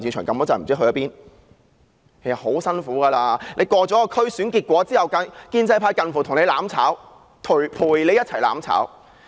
其實他們很辛苦，區議會選舉過後，建制派近乎和她"攬炒"，陪她一同"攬炒"。